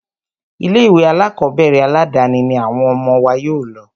Ilé ìwé alákọ̀berẹ̀ aládàni ní àwọn ọmọ wa yóò lọ.